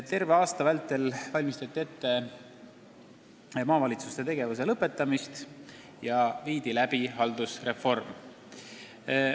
Terve aasta vältel valmistati ette maavalitsuste tegevuse lõpetamist ja viidi läbi haldusreform.